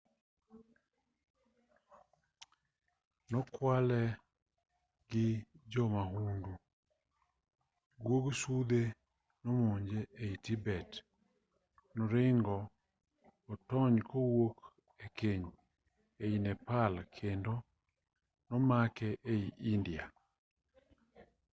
nokwale gi jo mahundu guog sudhe nomonje ei tibet noringo otony kowuok e keny ei nepal kendo nomake ei india